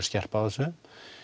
skerpt á þessu